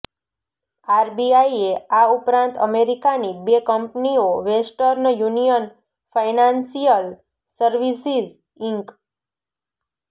આરબીઆઈએ આ ઉપરાંત અમેરિકાની બે કંપનીઓ Western Union Financial Services ink